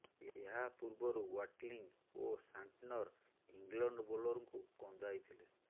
ଏହା ପୂର୍ବରୁ ୱାଟଲିଙ୍ଗ୍ ଓ ସାଣ୍ଟନର ଇଂଲଣ୍ଡ ବୋଲରଙ୍କୁ କନ୍ଦାଇଥିଲେ